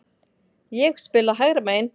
Ég hef spilað hægra megin.